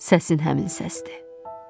Səsin həmin səsdir.